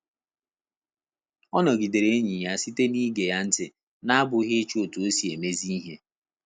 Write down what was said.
Ọ nọgidere enyi ya sita na ige ya ntị na abụghị ịchọ otu osi emezi ihe